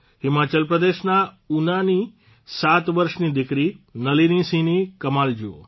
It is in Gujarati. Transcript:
હિમાચલ પ્રદેશના ઉનાની સાત વર્ષની દિકરી નલીનીસિંહની કમાલ જુઓ